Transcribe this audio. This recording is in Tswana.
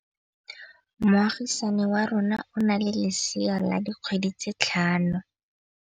Moagisane wa rona o na le lesea la dikgwedi tse tlhano.